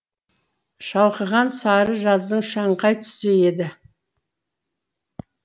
шалқыған сары жаздың шаңқай түсі еді